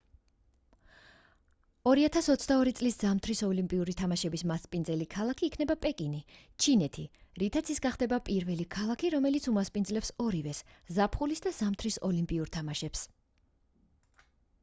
2022 წლის ზამთრის ოლიმპიური თამაშების მასპინძელი ქალაქი იქნება პეკინი ჩინეთი რითაც ის გახდება პირველი ქალაქი რომელიც უმასპინძლებს ორივეს ზაფხულის და ზამთრის ოლიმპიურ თამაშებს